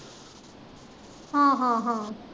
ਹਾਂ ਹਾਂ ਹਾਂ।